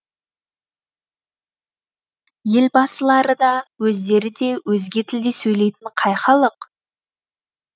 елбасылары да өздері де өзге тілде сөйлейтін қай халық